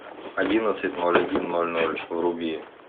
одиннадцать ноль один ноль ноль вруби